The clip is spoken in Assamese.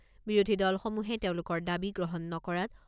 বিৰোধী দলসমূহে তেওঁলোকৰ দাবী গ্ৰহণ নকৰাত